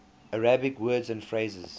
arabic words and phrases